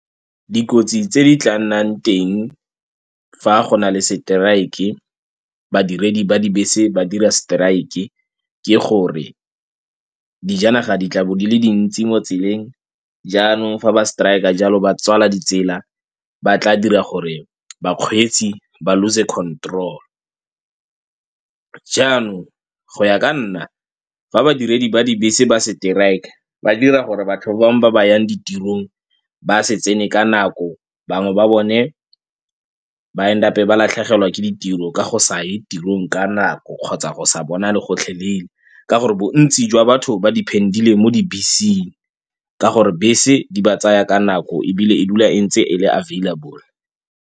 Dikotsi tse di tla nnang teng fa go na le strike-e, badiredi ba dibese ba dira strike-e ke gore dijanaga di tlabo di le dintsi mo tseleng jaanong fa ba strike-a jalo ba tswala ditsela ba tla dira gore bakgweetsi ba lose-e control. Jaanong go ya ka nna fa badiredi ba dibese ba strike-a ba dira gore batho ba bangwe ba ba yang ditirong ba se tsene ka nako bangwe ba bone ba and-e up-e ba latlhegelwa ke ditiro ka go sa ye tirong ka nako kgotsa go sa bonale gotlhe leele ka gore bontsi jwa batho ba depand-ile mo dibeseng ka gore bese di ba tsaya ka nako ebile e dula e ntse e le available.